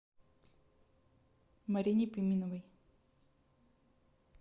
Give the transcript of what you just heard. марине пименовой